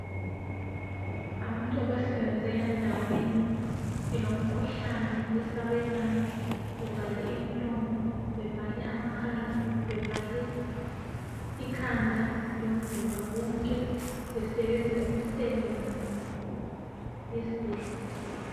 abantu abasebenzela endaweni elomkhuhlane owesabekayo bevale imilomo bevale amakhala bevale ikhanda lomzimba wonke besebenza imisebenzi yesibhedlela